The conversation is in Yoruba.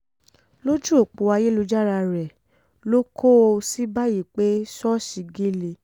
lójú ọ̀pọ̀ ayélujára rẹ ló kọ ọ́ sí báyìí pé ṣọ́ọ̀ṣì gélé